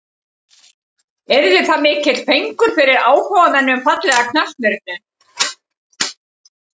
Yrði það mikill fengur fyrir áhugamenn um fallega knattspyrnu.